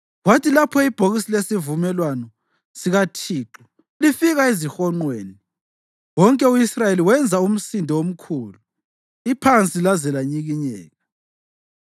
Kwathi lapho ibhokisi lesivumelwano sikaThixo lifika ezihonqweni, wonke u-Israyeli wenza umsindo omkhulu iphansi laze lanyikinyeka.